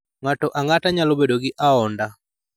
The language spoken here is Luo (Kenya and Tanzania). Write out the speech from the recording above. Ng�ato ang�ata nyalo bedo gi aonda.